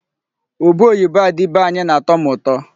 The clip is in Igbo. Ube oyibo a dị be anya na-atọ m ụtọ.